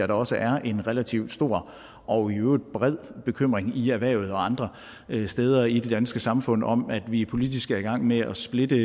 der også er en relativt stor og i øvrigt bred bekymring i erhvervet og andre steder i det danske samfund om at vi politisk er i gang med at splitte